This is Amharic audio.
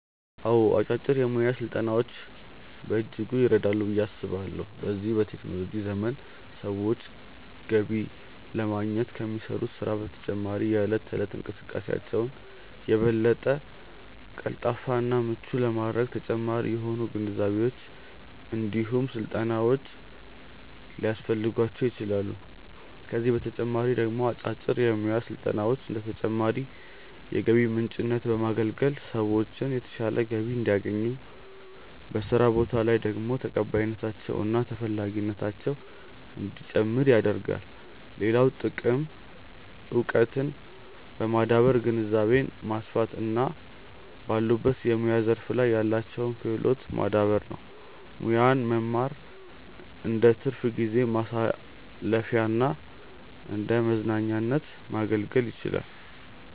አዎ አጫጭር የሙያ ስልጠናዎች በእጅጉ ይረዳሉ ብዬ አስባለሁ። በዚህ በቴክኖሎጂ ዘመን ሰዎች ገቢ ለማግኘት ከሚሰሩት ስራ በተጨማሪ የእለት ተእለት እንቅስቃሴያቸውን የበለጠ ቀልጣፋ እና ምቹ ለማድረግ ተጨማሪ የሆኑ ግንዛቤዎች እንዲሁም ስልጠናዎች ሊያስፈልጓቸው ይችላል፤ ከዚህ በተጨማሪ ደግሞ አጫጭር የሙያ ስልጠናዎች እንደ ተጨማሪ የገቢ ምንጭነት በማገልገል ሰዎችን የተሻለ ገቢ እንዲያገኙ፤ በስራ ቦታ ላይ ደግሞ ተቀባይነታቸው እና ተፈላጊነታቸው እንዲጨምር ያደርጋል። ሌላው ጥቅም እውቀትን በማዳበር ግንዛቤን ማስፋት እና ባሉበት የሙያ ዘርፍ ላይ ያላቸውን ክህሎት ማዳበር ነው። ሙያን መማር እንደትርፍ ጊዜ ማሳለፊያና እንደመዝናኛነት ማገልገል ይችላል።